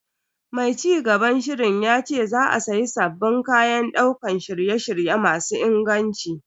Mai cigaban shirin yace za a siya sabbin kayan daukar shirye-shirye masu inganci.